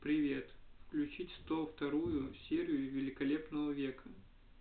привет включить сто вторую серию великолепного века